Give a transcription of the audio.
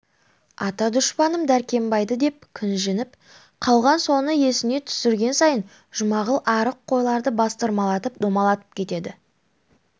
ата дұшпаным дәркембайды деп кіжініп қалған соны есіне түсірген сайын жұмағұл арық қойларды бастырмалатып домалатып кетеді